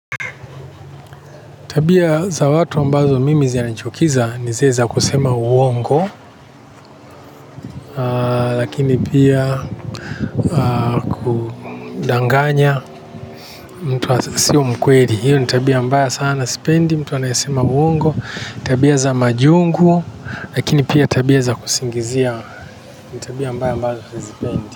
Tabia za watu ambazo mimi zina ni chukiza ni zile za kusema uongo lakini pia kudanganya mtu asio mkweri. Hiyo ni tabia mbaya sana sipendi mtu anayasema uongo. Tabia za majungu, lakini pia tabia za kusingizia. Tabia mbaya ambazo zipendi.